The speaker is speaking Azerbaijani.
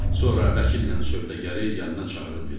Sonra vəkillə sövdəgəri yanına çağırıb dedi: